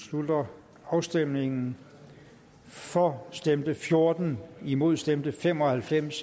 slutter afstemningen for stemte fjorten imod stemte fem og halvfems